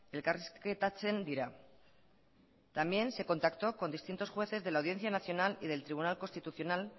elkarrizketatzen dira también se contactó con distintos jueces de la audiencia nacional y del tribunal constitucional